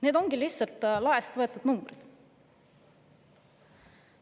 Need ongi lihtsalt laest võetud numbrid.